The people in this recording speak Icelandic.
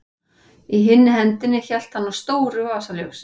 Í hinni hendinni hélt hann á stóru vasaljósi.